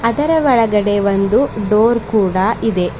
ಅದರ ಒಳಗಡೆ ಒಂದು ಡೋರ್ ಕೂಡ ಇದೆ.